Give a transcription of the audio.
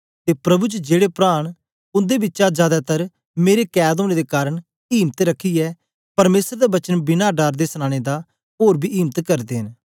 ते प्रभु च जेड़े प्रा न उंदे बिचा जादै तर मेरे कैद ओनें दे कारन इम्त रखियै परमेसर दा वचन बिना डर दे सनाने दा ओर बी इम्त करदे न